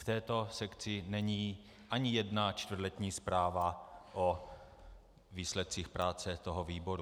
V této sekci není ani jedna čtvrtletní zpráva o výsledcích práce toho výboru.